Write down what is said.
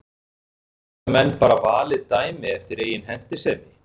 Geta menn bara valið dæmi eftir eigin hentisemi?